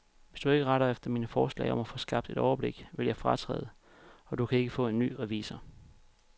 Hvis du ikke retter dig efter mine forslag om at få skabt et overblik, vil jeg fratræde, og du kan ikke få en ny revisor.